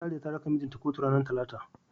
Sariya ta raka mijin ta kotu ranar Talata.